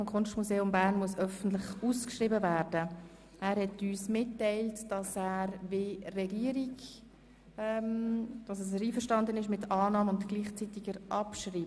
Der Motionär hat uns mitgeteilt, er sei einverstanden mit dem Antrag der Regierung, das heisst mit Annahme und Abschreibung der Motion.